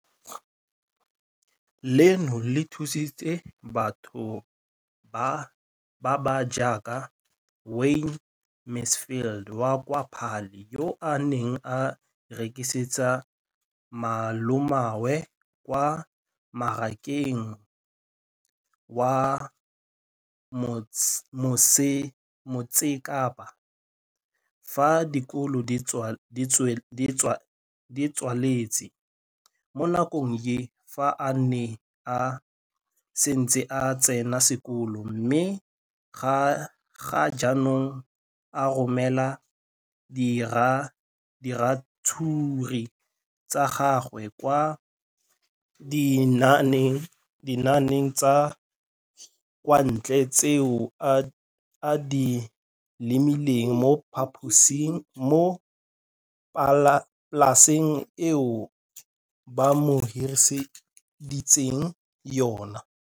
Leno le thusitse batho ba ba jaaka Wayne Mansfield, 33, wa kwa Paarl, yo a neng a rekisetsa malomagwe kwa Marakeng wa Motsekapa fa dikolo di tswaletse, mo nakong ya fa a ne a santse a tsena sekolo, mme ga jaanong o romela diratsuru tsa gagwe kwa dinageng tsa kwa ntle tseo a di lemileng mo polaseng eo ba mo hiriseditseng yona.